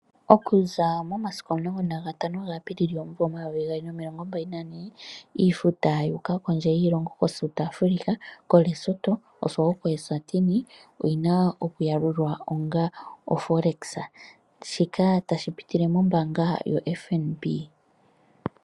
Oku za momasiku 15 Apilili 2024 iifuta yuuka kondje yiilongo koSouth Africa, Lesotho osho wo koEswathini oyina oku yalulwa onga oForex shika tashi pitile mombaanga yoFNB.